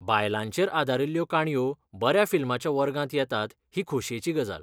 बायलांचेर आदारिल्ल्यो काणयो बऱ्या फिल्माच्या वर्गांत येतात ही खोशयेची गजाल.